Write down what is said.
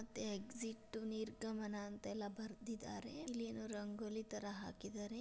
ಮತ್ತೆ ಎಕ್ಸಿಟ್ ನಿರ್ಗಮನ ಅಂತ ಬರೆದಿದ್ದಾರೆ ಇಲ್ಲೇನೋ ರಂಗೋಲಿ ತರ ಹಾಕಿದ್ದಾರೆ.